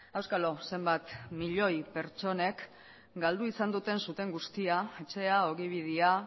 auskalo zenbat milioi pertsonek galdu izan duten zuten guztia etxea ogibidea